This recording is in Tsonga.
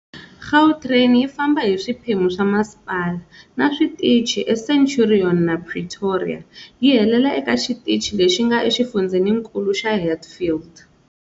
Gautrain yi famba hi swiphemu swa masipala, na switichi eCenturion na Pretoria, yi helela eka xitichi lexi nga exifundzheninkulu xa Hatfield.